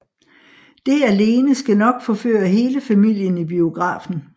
Det alene skal nok forføre hele familien i biografen